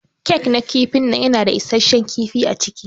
Kek na kifin nan yana da issashen kifi aciki.